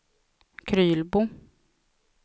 Krylbo